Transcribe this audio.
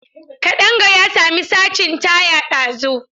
Kadanga ya sami sacin taya ɗazun.